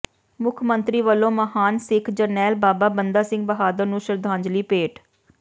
ਮੁੱਖ ਮੰਤਰੀ ਵੱਲੋਂ ਮਹਾਨ ਸਿੱਖ ਜਰਨੈਲ ਬਾਬਾ ਬੰਦਾ ਸਿੰਘ ਬਹਾਦਰ ਨੂੰ ਸ਼ਰਧਾਂਜਲੀ ਭੇਟ